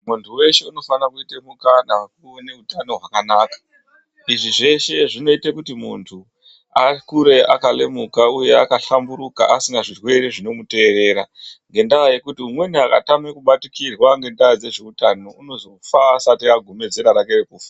Muntu weshe unofana kuite mukana wekuve neutano hwakanaka. Izvi zveshe zvinoite kuti muntu akure akalemuka uye akahlamburuka asina zvirwere zvinomuterera, Ngendaa yekuti umweni akatame kubatikirwa ngendaa dzezveutano unozofa asati agume zera rake rekufa.